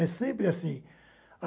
É sempre assim.